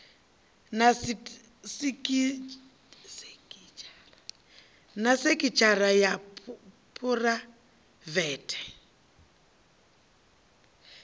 na sekitshara ya phuraivele i